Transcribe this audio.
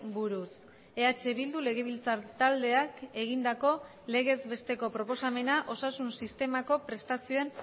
buruz eh bildu legebiltzar taldeak egindako legez besteko proposamena osasun sistemako prestazioen